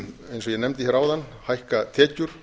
eins og ég nefndi hér áðan hækka tekjur